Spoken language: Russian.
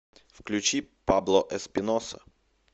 включи пабло эспиноса